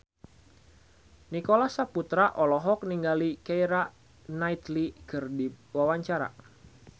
Nicholas Saputra olohok ningali Keira Knightley keur diwawancara